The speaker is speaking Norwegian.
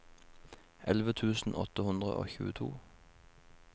elleve tusen åtte hundre og tjueto